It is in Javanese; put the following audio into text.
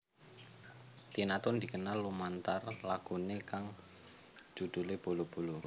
Tina Toon dikenal lumantar laguné kang judhulé Bolo Bolo